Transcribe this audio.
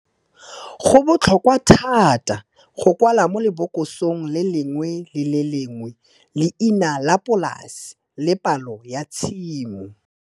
Go botlhokwa thata go kwala mo lebokosong le lengwe le le lengwe leina la polase le palo ya tshimo.